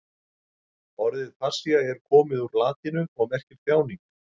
Orðið passía er komið úr latínu og merkir þjáning.